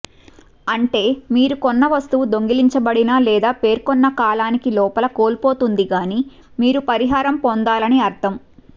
అంటే మీరు కొన్న వస్తువు దొంగిలించబడినా లేదా పేర్కొన్న కాలానికి లోపల కోల్పోతుంది గానీ మీరు పరిహారం పొందాలని అర్థం